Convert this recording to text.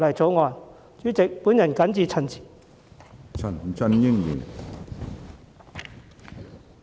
主席，我謹此陳辭。